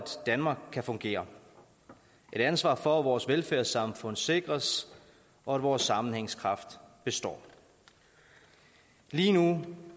danmark kan fungere og et ansvar for at vores velfærdssamfund sikres og vores sammenhængskraft består lige nu